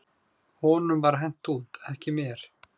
"""Honum var hent út, ekki mér."""